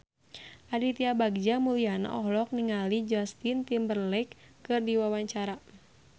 Aditya Bagja Mulyana olohok ningali Justin Timberlake keur diwawancara